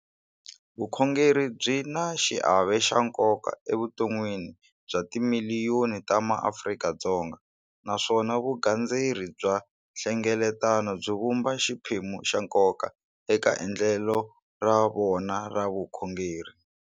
Vukhongeri byi na xiave xa nkoka evuton'wini bya timiliyoni ta maAfrika-Dzonga, naswona vugandzeri bya nhlengeletano byi vumba xiphemu xa nkoka eka endlelo ra vona ra vukhongeri.